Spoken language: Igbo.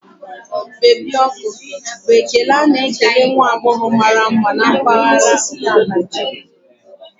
Baby ọkụ' bụ ekele a na-ekele nwa agbọghọ mara mma in this part of Nigeria